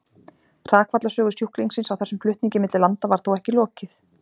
Hrakfallasögu sjúklingsins á þessum flutningi milli landa var þó ekki lokið.